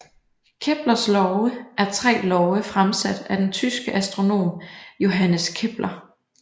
Keplers love er tre love fremsat af den tyske astronom Johannes Kepler